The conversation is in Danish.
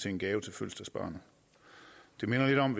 en gave til fødselsdagsbarnet det minder lidt om